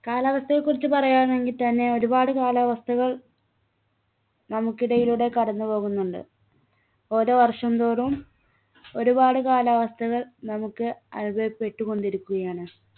കാലാവസ്ഥയെക്കുറിച്ച് പറയാനാണെങ്കിൽ തന്നെ ഒരുപാട് കാലാവസ്ഥകൾ നമ്മുക്കിടയിലൂടെ കടന്നുപോകുന്നുണ്ട് ഓരോ വർഷം തോറും ഒരുപാട് കാലാവസ്ഥകൾ നമ്മുക്ക് അനുഭവപ്പെട്ടുകൊണ്ടിരിക്കുകയാണ്